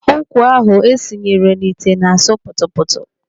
Ụkwa ahụ esinyere nọ ite na-asụ kputu kputu.